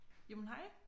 Jamen hej